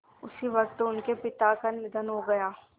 उसी वक़्त उनके पिता का निधन हो गया